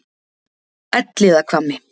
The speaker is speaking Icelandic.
Elliðahvammi